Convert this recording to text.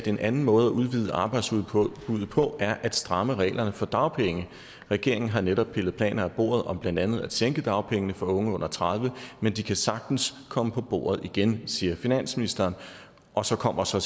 en anden måde at udvide arbejdsudbuddet på er at stramme reglerne for dagpenge regeringen har netop pillet planer af bordet om blandt andet at sænke dagpengene for unge under tredive år men de kan sagtens komme på bordet igen siger finansministeren og så kommer så